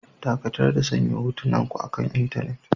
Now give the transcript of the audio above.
Dakatar da sanya hotunanku akan intanet.